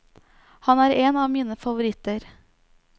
Han er en av mine favoritter.